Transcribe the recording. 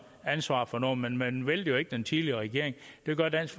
ansvar for noget men man væltede jo ikke den tidligere regering det gør dansk